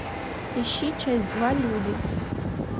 ищи часть два люди